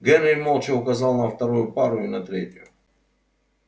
генри молча указал на вторую пару и на третью